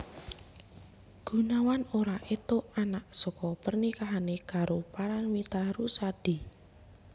Gunawan ora entuk anak saka pernikahané karo Paramitha Rusady